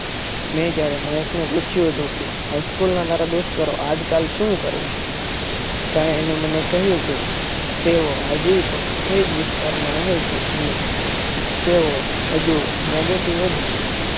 મેં જયારે મહેકને પૂછ્યું હતું કે હાઈસ્કૂલ ના તારા દોસ્તારો આજ કલ શું કરે છે. ત્યારે એણે મને કહ્યું કે તેઓ આજે પણ એજ વિસ્તારમાં રહે છે. અને તેઓ હજુ negative જ છે.